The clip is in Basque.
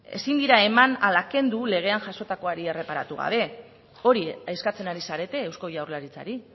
ezin dira eman ala kendu legean jasotakoari erreparatu gabe hori eskatzen ari zarete eusko jaurlaritzari